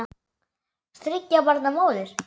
Þriggja barna móðir.